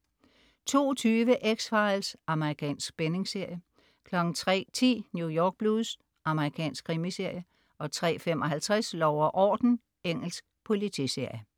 02.20 X-Files. Amerikansk spændingsserie 03.10 New York Blues. Amerikansk krimiserie 03.55 Lov og uorden. Engelsk politiserie